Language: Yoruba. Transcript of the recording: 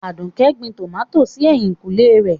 Aduke gbìn tọ́mátí sí èhìnkùnlè rẹ̀.